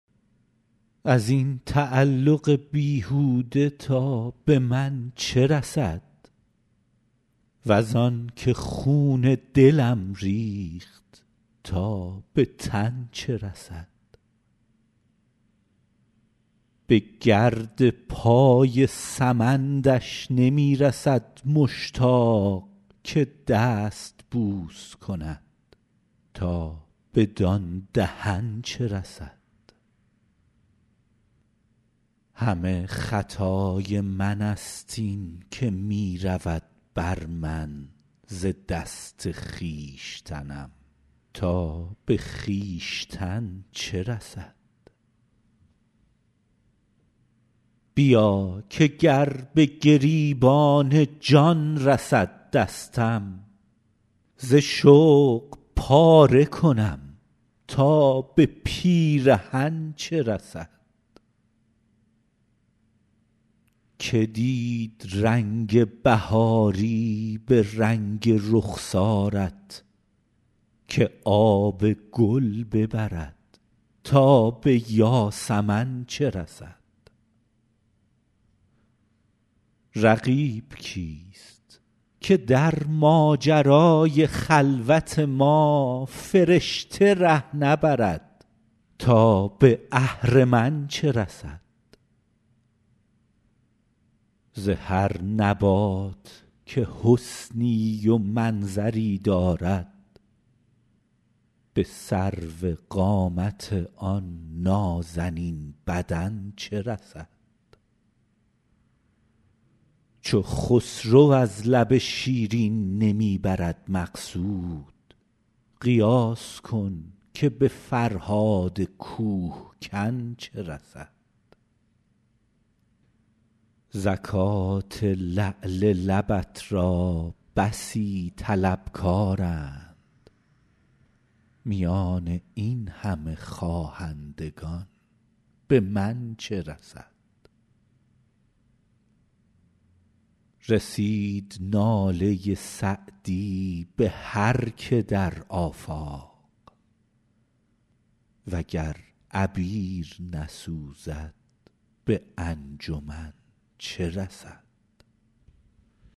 از این تعلق بیهوده تا به من چه رسد وز آن که خون دلم ریخت تا به تن چه رسد به گرد پای سمندش نمی رسد مشتاق که دست بوس کند تا بدان دهن چه رسد همه خطای من ست این که می رود بر من ز دست خویشتنم تا به خویشتن چه رسد بیا که گر به گریبان جان رسد دستم ز شوق پاره کنم تا به پیرهن چه رسد که دید رنگ بهاری به رنگ رخسارت که آب گل ببرد تا به یاسمن چه رسد رقیب کیست که در ماجرای خلوت ما فرشته ره نبرد تا به اهرمن چه رسد ز هر نبات که حسنی و منظری دارد به سروقامت آن نازنین بدن چه رسد چو خسرو از لب شیرین نمی برد مقصود قیاس کن که به فرهاد کوه کن چه رسد زکات لعل لبت را بسی طلبکارند میان این همه خواهندگان به من چه رسد رسید ناله سعدی به هر که در آفاق و گر عبیر نسوزد به انجمن چه رسد